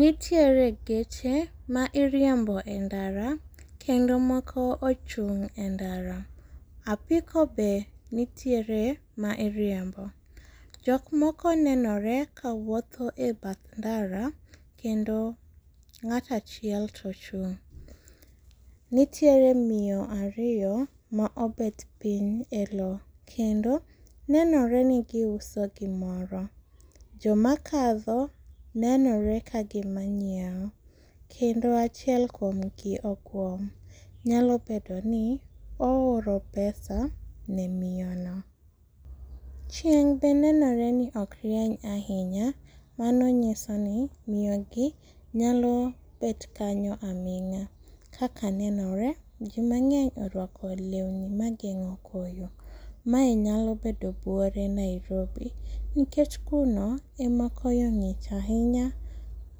Nitiere geche mairiembo e ndara, kendo moko ochung' e ndara. Apiko be nitiere ma iriembo. Jokmoko nenore kawuotho e badh ndara, kendo ng'ato achielo to ochung'. Nitiere miyo ariyo maobet piny e loo, kendo nenore ni giuso gimoro. Jomakadho nenore kagima nyieo, kendo achiel kuomgi oguom, nyalo bedoni ooro pesa ne miyono. Chieng' be nenoreni okrieny ahinya, mano nyisoni miyogi nyalo bet kanyo aming'a. Kaka nenore jii mang'eny oruako leuni mageng'o koyo. Mae nyalo bedo buore Nairobi, nikech kuno ema koyo ng'ich ahinya